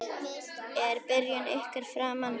Er byrjun ykkar framar vonum?